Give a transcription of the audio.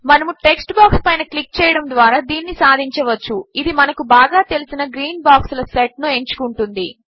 మనము text box పైన click చేయడము ద్వారా దీనిని సాధించవచ్చు ఇది మనకు బాగా తెలిసిన గ్రీన్ బాక్స్ ల సెట్ ను ఎంచుకుంటుంది